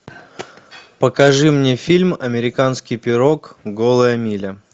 покажи мне фильм американский пирог голая миля